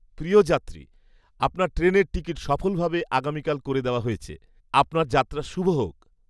প্রিয় যাত্রী, আপনার ট্রেনের টিকিট সফলভাবে আগামীকাল করে দেওয়া হয়েছে। আপনার যাত্রা শুভ হোক!